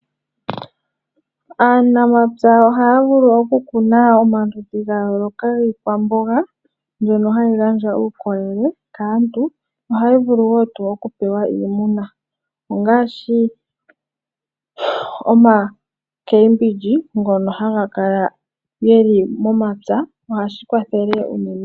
Aanamapya ohaya vulu okukuna omaludhi ga yooloka giikwamboga mbyono hayi gandja uukolele kaantu, ohayi vu wo okupewa iimuna ngaashi omakembindji ngono haga kala ge li momapya nohashi kwathele unene.